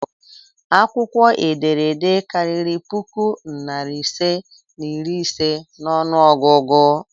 Akwukwo ederede kariri puku nari ise na iri ise n'onu ogugu?